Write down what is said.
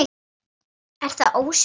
Er það ósvikið þetta?